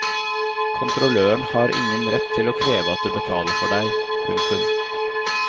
Kontrolløren har ingen rett til å kreve at du betaler for deg. punktum